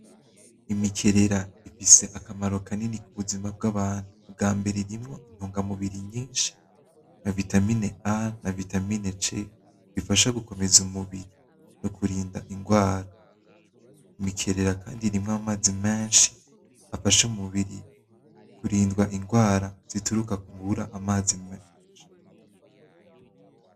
Imikerera ifise akamaro kanini ku buzima bw'abantu, ubwa mbere irimwo intungamubiri nyinshi na vitamine A na vitamine C bifasha gukomeza umubiri no kurinda ingwara, imikerera kandi irimwo amazi menshi afasha umubiri kurindwa ingwara zituruka ku kubura amazi menshi.